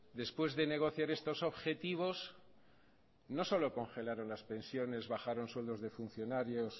después de negociar estos objetivos no solo congelaron las pensiones bajaron sueldos de funcionarios